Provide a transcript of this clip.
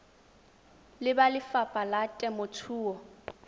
le ba lefapha la temothuo